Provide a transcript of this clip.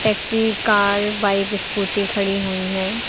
सी car bike scooty खड़ी हुई हैं।